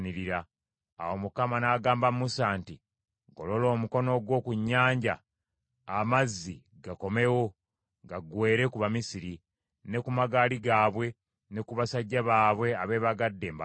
Awo Mukama n’agamba Musa nti, “Golola omukono gwo ku nnyanja, amazzi gakomewo gaggweere ku Bamisiri, ne ku magaali gaabwe, ne ku basajja baabwe abeebagadde embalaasi.”